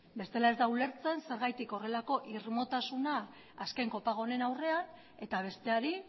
bestela ez da ulertzen zergatik horrelako irmotasuna azken kopago honen aurrean eta besteari